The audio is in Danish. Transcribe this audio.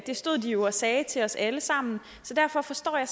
stod de jo og sagde til os alle sammen så derfor forstår jeg